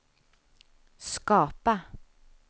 skapa